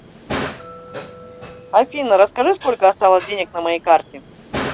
афина расскажи сколько осталось денег на моей карте